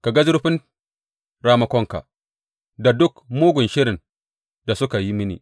Ka ga zurfin ramakonsu, da duk mugun shirin da suke yi mini.